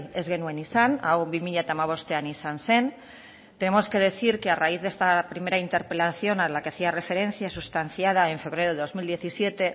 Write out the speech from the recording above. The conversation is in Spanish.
ez genuen izan hau bi mila hamabostean izan zen tenemos que decir que a raíz de esta primera interpelación a la que hacía referencia sustanciada en febrero de dos mil diecisiete